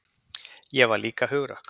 Ég var líka hugrökk.